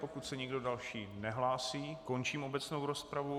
Pokud se nikdo další nehlásí, končím obecnou rozpravu.